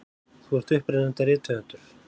Þú ert upprennandi rithöfundur.